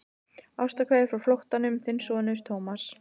Ástarkveðjur frá flóttanum, þinn sonur Thomas.